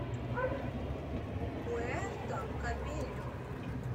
пуэрто кабельо